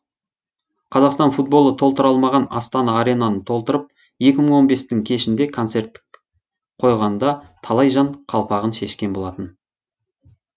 қазақстан футболы толтыра алмаған астана аренаны толтырып екі мың он бестің кешінде концерт қойғанда талай жан қалпағын шешкен болатын